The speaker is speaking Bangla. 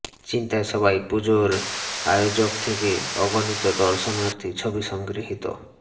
চিন্তায় সবাই পুজোর আয়োজক থেকে অগণিত দর্শনার্থী ছবি সংগৃহীত